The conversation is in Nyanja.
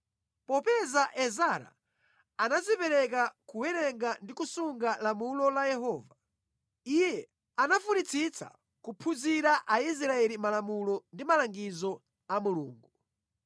Popeza Ezara anadzipereka kuwerenga ndi kusunga malamulo a Yehova, iye anafunitsitsa kuphunzitsa Aisraeli malamulo ndi malangizo a Mulungu.